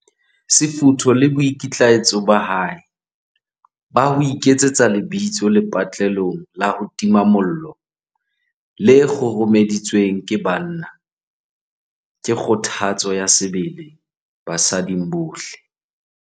Sefutho le boikitlaetso ba hae ba ho iketsetsa lebitso lepatlelong la ho tima mollo le kguru-meditsweng ke banna, ke kgothatso ya sebele basading bohle.